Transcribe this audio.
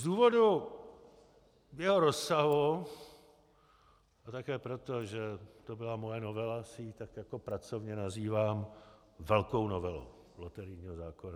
Z důvodu jeho rozsahu, a také proto, že to byla moje novela, si ji tak jako pracovně nazývám Velkou novelou loterijního zákona.